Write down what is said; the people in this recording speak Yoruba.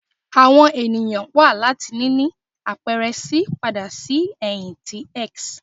Awọn eniyan wa lati nini apẹrẹ C pada si ẹhin ti S